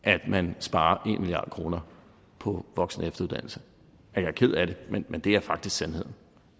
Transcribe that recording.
at man sparer en milliard kroner på voksenefteruddannelse jeg er ked af det men men det er faktisk sandheden